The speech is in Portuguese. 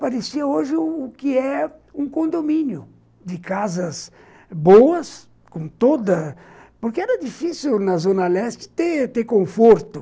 Parecia hoje o que é um condomínio, de casas boas, com toda... Porque era difícil na Zona Leste ter ter conforto.